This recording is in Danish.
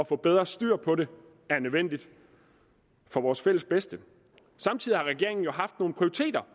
får bedre styr på det er nødvendigt for vores fælles bedste samtidig har regeringen jo haft nogle prioriteringer